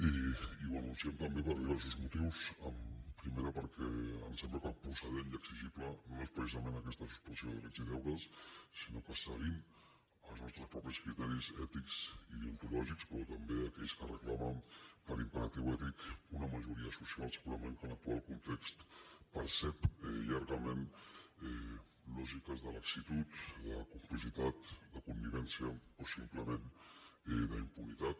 i ho anunciem també per diversos motius primer perquè em sembla que el procedent i exigible no és precisament aquesta suspensió de drets i deures sinó que seguint els nostres propis criteris ètics i deontològics però també aquells que reclamen per imperatiu ètic una majoria social segurament que en l’actual context percep llargament lògiques de la·xitud de complicitat de connivència o simplement d’impunitat